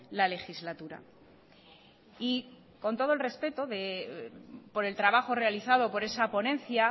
la legislatura y con todo el respeto por el trabajo realizado por esa ponencia